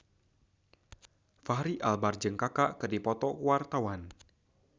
Fachri Albar jeung Kaka keur dipoto ku wartawan